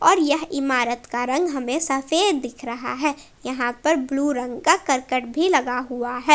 और यह इमारत का रंग हमे सफ़ेद दिख रहा है यहां पर ब्लू रंग का करकट भी लगा हुआ है।